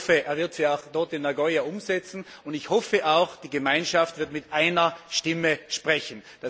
Ich hoffe, er wird sie auch dort in Nagoya umsetzen, und ich hoffe auch, die Gemeinschaft wird mit einer Stimme sprechen.